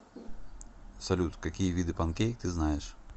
салют какие виды панкейк ты знаешь